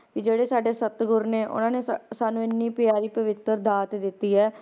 ਵੀ ਜਿਹੜੇ ਸਾਡੇ ਸਤਿਗੁਰ ਨੇ ਉਹਨਾਂ ਨੇ ਸਾ~ ਸਾਨੂੰ ਇੰਨੀ ਪਿਆਰੀ ਪਵਿੱਤਰ ਦਾਤ ਦਿੱਤੀ ਹੈ,